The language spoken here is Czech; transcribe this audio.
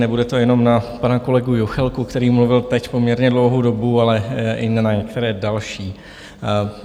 Nebude to jenom na pana kolegu Juchelku, který mluvil teď poměrně dlouhou dobu, ale i na některé další.